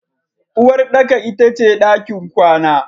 Uwarɗaka ita ce ɗakin kwana.